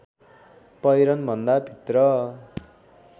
पहिरनभन्दा भित्र